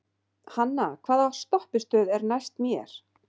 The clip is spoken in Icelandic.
Hanna, hvaða stoppistöð er næst mér?